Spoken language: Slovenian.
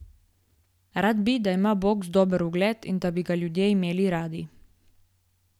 Rad bi, da ima boks dober ugled in da bi ga ljudje imeli radi.